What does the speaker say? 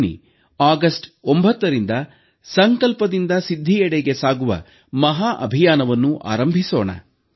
ಬನ್ನಿ ಆಗಸ್ಟ್ 9ರಿಂದ ಸಂಕಲ್ಪದಿಂದ ಸಿದ್ಧಿಯೆಡೆಗೆ ಸಾಗುವ ಮಹಾ ಅಭಿಯಾನವನ್ನು ಆರಂಭಿಸೋಣ